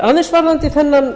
aðeins varðandi þennan